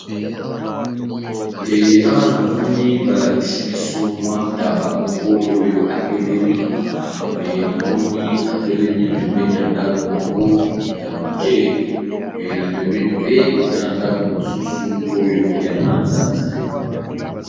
Eeee awa namoni balakisibiso mua taaba moko oyo atelemi ee namoni atelemi na ndakomoko yamukeee ee napembeni pe ezana ndako mususu ezayamanzanza